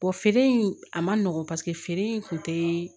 feere in a man nɔgɔn paseke feere in kun tɛ